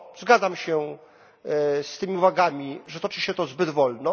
Zgadzam się z tymi uwagami, że toczy się to zbyt wolno.